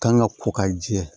Kan ka ko ka jɛ